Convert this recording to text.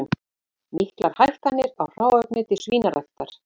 Miklar hækkanir á hráefni til svínaræktar